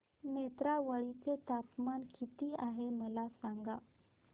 नेत्रावळी चे तापमान किती आहे मला सांगा